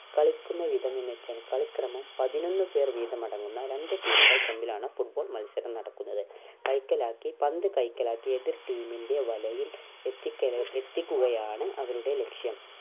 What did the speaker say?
കളിക്കുന്ന വിധം എന്നു വെച്ചാൽ കളിക്രമം പതിനൊന്ന് പേർ വീതം അടങ്ങുന്ന രണ്ട് team കൾ തമ്മിലാണ് football മത്സരം നടക്കുന്നത് കൈക്കലാക്കി പന്ത് കൈക്കലാക്കി എതിർ team ൻ്റെ വലയിൽ എത്തിക്കൽ എത്തിക്കുകയാണ് അവരുടെ ലക്ഷ്യം